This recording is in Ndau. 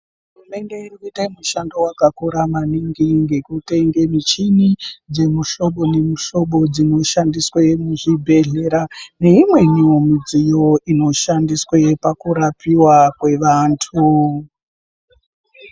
Hurumende iri kuyita mushando wakakura maningi ,ngekutenge michini dzemihlobo nemihlobo dzinoshandiswe muzvibhedhlera, neimweniwo midziyo inoshandiswe pakurapiwa kwevantu.